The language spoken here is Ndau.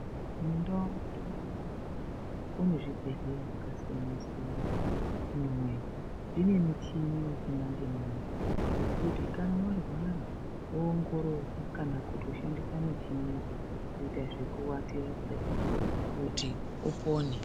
Mundau medu munomu kune zvibhedhlera zvakasiyana siyana mune michini yechi manje manje yekuti kana warwara woongororwa kana kushandisa michini yacho kuita zvekuatira kudai kuti upone.